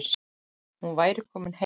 Hún væri komin heim.